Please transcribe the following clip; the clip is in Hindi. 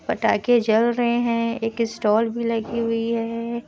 पटाखे जल रहे हैं। एक स्टाल भी लगी है।